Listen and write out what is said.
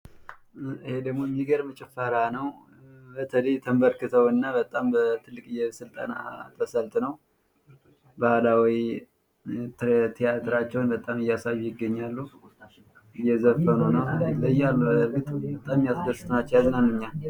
ይሄ ደግሞ የሚገርም ጭፈራ ነው በተለይ ተንበርክከው እና በጣም ትልቅ ስልጠና ሰልጥነው ባህላዊ ትያትራቸውን በሚገርም ሁኔታ እያሳዩ ይገኛሉ እየዘፈኑ ነው በጣም የሚያስደስቱ ናቸው ያዝናኑኛል::